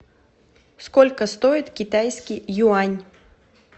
сколько стоит китайский юань